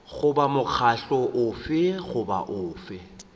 goba mokgatlo ofe goba ofe